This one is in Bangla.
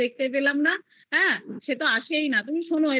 দেখতে পেলাম না হ্যা সেটা এসেই না তুমি শুনো